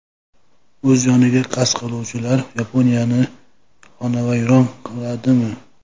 O‘z joniga qasd qiluvchilar Yaponiyani xonavayron qiladimi?.